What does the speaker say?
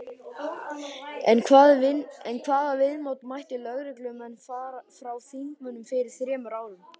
En hvaða viðmóti mættu lögreglumenn frá þingmönnum fyrir þremur árum?